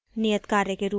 नियत कार्य के रुप में